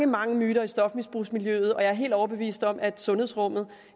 mange myter i stofmisbrugsmiljøet og jeg er helt overbevist om at sundhedsrummet